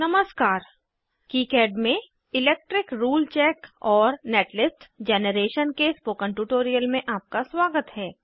नमस्कार किकाड में electric rule check और नेटलिस्ट जैनरेशन के स्पोकन ट्यूटोरियल में आपका स्वागत है